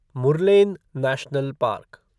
Murlen national park